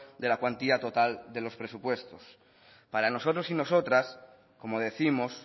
de la cuantía total de los presupuestos para nosotros y nosotras como décimos